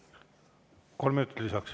Kolm minutit lisaks.